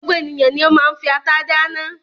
Gbogbo ènìyàn ni ó máa ń fi ata dáná.